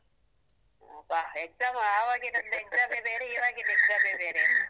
ಅಬ್ಬಾ. exam ಆವಾಗಿನೊಂದ್ exam ಯೇ ಬೇರೆ, ಇವಾಗಿದ್ exam ಯೇ ಬೇರೆ. .